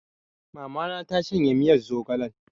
Mama na ta shanye miyar zogalen